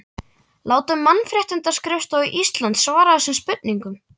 Látum Mannréttindaskrifstofu Íslands svara þessum spurningum